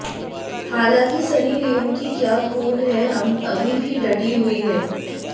हालांकि सनी लियोन की क्या कूल हैं हम अभी भी डटी हुई है